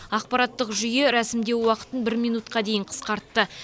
ақпараттық жүйе рәсімдеу уақытын бір минутқа дейін қысқартты